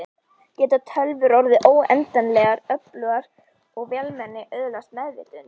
Geta tölvur orðið óendanlegar öflugar og vélmenni öðlast meðvitund?